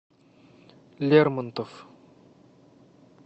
лермонтов